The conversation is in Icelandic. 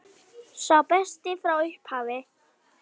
Sá besti frá upphafi?